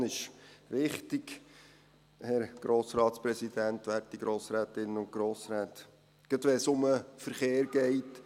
Die Prävention ist wichtig, Herr Grossratspräsident, werte Grossrätinnen und Grossräte, gerade, wenn es um den Verkehr geht.